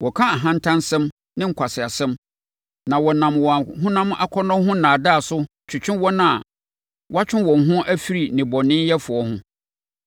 Wɔka ahantansɛm ne nkwaseasɛm na wɔnam wɔn honam akɔnnɔ ho nnaadaa so twetwe wɔn a wɔatwe wɔn ho afiri nnebɔneyɛfoɔ ho.